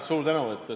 Suur tänu!